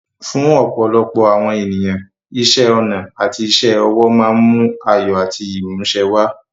Fún ọ̀pọ̀lọpọ̀ àwọn ènìyàn, iṣẹ́ ọnà àti iṣẹ́ ọwọ́ máa ń mú ayọ̀ àti ìmúṣẹ wá.